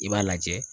I b'a lajɛ